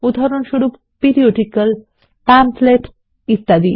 উদাহরণস্বরূপ periodical pamphlet ইত্যাদি